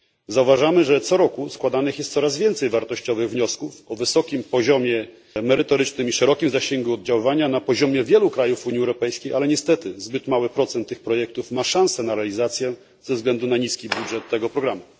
Zauważamy, że co roku składanych jest coraz więcej wartościowych wniosków o wysokim poziomie merytorycznym i szerokim zasięgu oddziaływania na poziomie wielu krajów Unii Europejskiej, ale niestety zbyt mały procent tych projektów ma szansę na realizację ze względu na niski budżet tego programu.